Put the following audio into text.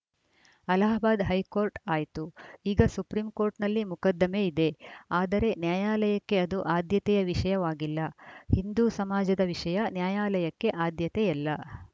Allahabad high court ಆಯ್ತು ಈಗ ಸುಪ್ರೀಂಕೋರ್ಟ್‌ನಲ್ಲಿ ಮೊಕದ್ದಮೆ ಇದೆ ಆದರೆ ನ್ಯಾಯಾಲಯಕ್ಕೆ ಅದು ಆದ್ಯತೆಯ ವಿಷಯವಾಗಿಲ್ಲ ಹಿಂದು ಸಮಾಜದ ವಿಷಯ ನ್ಯಾಯಾಲಯಕ್ಕೆ ಆದ್ಯತೆಯಲ್ಲ